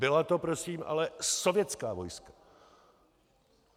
Byla to prosím ale sovětská vojska.